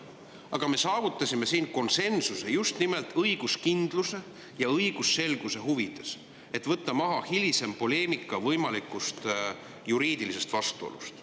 Aga me saavutasime siin konsensuse just nimelt õiguskindluse ja õigusselguse huvides, et võtta maha hilisem poleemika võimaliku juriidilise vastuolu teemal.